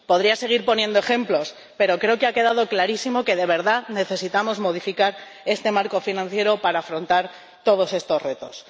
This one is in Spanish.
Podría seguir poniendo ejemplos, pero creo que ha quedado clarísimo que de verdad necesitamos modificar este marco financiero para afrontar todos estos retos.